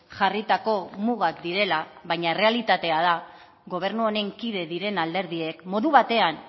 jarritako mugak direla baina errealitatea da gobernu honen kide diren alderdiek modu batean